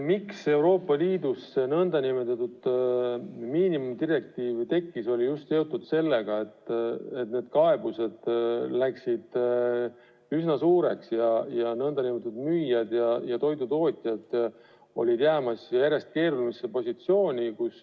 Miks Euroopa Liidus too nn miinimumdirektiiv tekkis, oli seotud just sellega, et kaebused läksid üsna suureks ning müüjad ja toidutootjaid olid jäämas järjest keerulisemasse seisu.